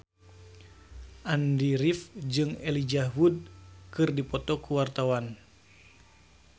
Andy rif jeung Elijah Wood keur dipoto ku wartawan